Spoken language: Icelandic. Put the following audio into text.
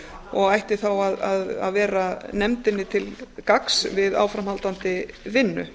og ætti þá að vera nefndinni til gagns við áframhaldandi vinnu